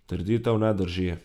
Trditev ne drži.